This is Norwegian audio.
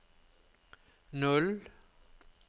null